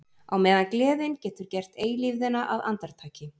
Á meðan gleðin getur gert eilífðina að andartaki.